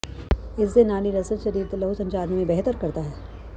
ਇਸ ਦੇ ਨਾਲ ਹੀ ਲਸਣ ਸਰੀਰ ਦੇ ਲਹੂ ਸੰਚਾਰ ਨੂੰ ਵੀ ਬਿਹਤਰ ਕਰਦਾ ਹੈ